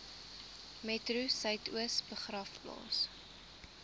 metro suidoos begraafplaas